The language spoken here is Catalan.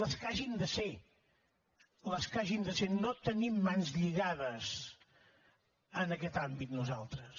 les que hagin de ser les que hagin de ser no tenim mans lligades en aquest àmbit nosaltres